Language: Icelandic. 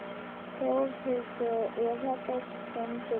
Þórhildur: Er þetta skemmtilegt?